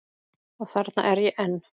Og þarna er ég enn.